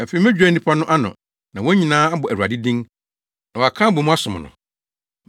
“Afei medwira nnipa no ano, na wɔn nyinaa abɔ Awurade din na wɔaka abɔ mu asom no.